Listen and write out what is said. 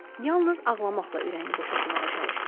Yalnız ağlamaqla ürəyini boşaltmağa çalışdı.